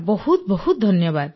ବହୁତ ବହୁତ ଧନ୍ୟବାଦ